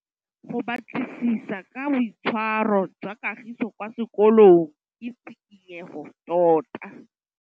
Go batlisisa ka boitshwaro jwa Kagiso kwa sekolong ke tshikinyêgô tota.